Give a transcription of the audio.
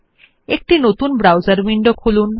একটি নতুন browser window খুলুন